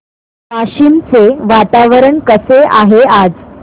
वाशिम चे वातावरण कसे आहे आज